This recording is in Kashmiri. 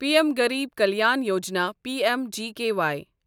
P M Garib Kalyan Yojana P M G K Y